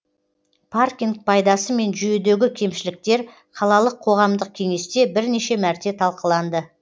паркинг пайдасы мен жүйедегі кемшіліктер қалалық қоғамдық кеңесте бірнеше мәрте талқыланды